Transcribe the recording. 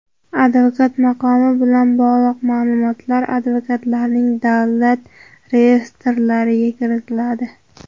Advokat maqomi bilan bog‘liq ma’lumotlar advokatlarning davlat reyestrlariga kiritiladi.